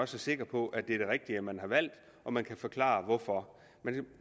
sikre på at det er det rigtige man har valgt og man kan forklare hvorfor